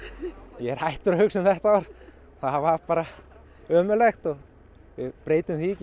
ég er hættur að hugsa um þetta ár það var bara ömurlegt við breytum því ekki